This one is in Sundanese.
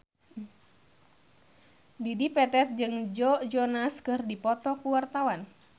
Dedi Petet jeung Joe Jonas keur dipoto ku wartawan